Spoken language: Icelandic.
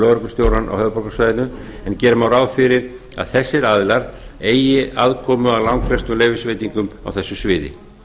lögreglustjórann á höfuðborgarsvæðinu án ár má ráð fyrir að þessir aðilar eigi aðkomu að langflestum leyfisveitingum á þessu sviði